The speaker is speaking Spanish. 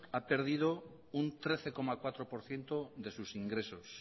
ha perdido un trece coma cuatro por ciento de sus ingresos